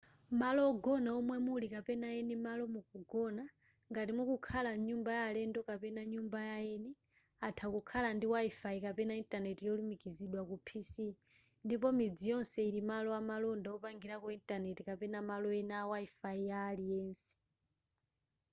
malo ogona omwe muli kapena eni malo mukugona ngati mukukhala mnyumba ya alendo kapena nyumba yaeni atha kukhala ndi wifi kapena intaneti yolumikizidwa ku pc ndipo midzi yonse ili malo amalonda wopangirako intaneti kapena malo ena a wifi ya aliyense